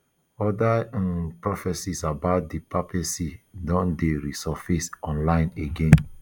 oda um prophecies about di papacy don dey resurface online again